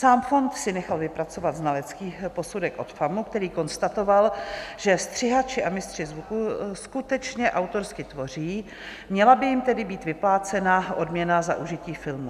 Sám fond si nechal vypracovat znalecký posudek od FAMU, který konstatoval, že střihači a mistři zvuku skutečně autorsky tvoří, měla by jim tedy být vyplácena odměna za užití filmů.